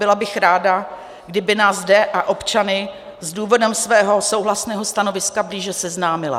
Byla bych ráda, kdyby nás zde a občany s důvodem svého souhlasného stanoviska blíže seznámila.